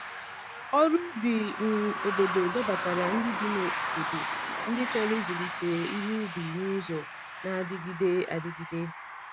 Ọrụ ubi um obodo dọbatara ndị bi n’obodo ndị chọrọ ịzụlite ihe ubi n’ụzọ na-adịgide adịgide.